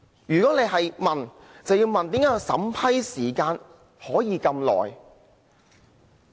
如果大家要問，就要問為何審批時間會這麼長？